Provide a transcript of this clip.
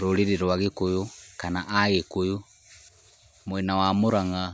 Rũrĩrĩ rwa gĩkũyũ kana agĩkũyũ, mwena wa Mũrang'a